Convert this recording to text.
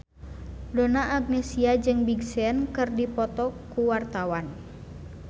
Donna Agnesia jeung Big Sean keur dipoto ku wartawan